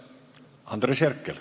Andres Herkel.